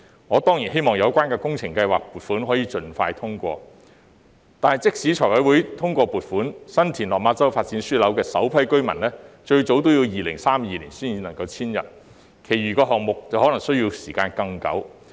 我當然希望有關的工程計劃撥款可以盡快通過，但即使財務委員會通過撥款，新田/落馬洲發展樞紐的首批居民最早也要2032年才能遷入，其餘項目則可能需時更久。